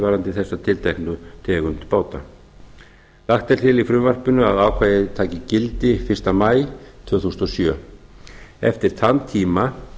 varðandi þessa tilteknu tegund báta lagt er til í frumvarpinu að að ákvæðið taki gildi fyrsta maí tvö þúsund og sjö eftir þann tíma